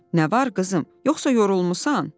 Nə var, qızım, yoxsa yorulmusan?